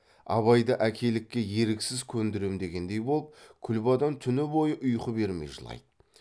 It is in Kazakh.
абайды әкелікке еріксіз көндірем дегендей боп күлбадан түні бойы ұйқы бермей жылайды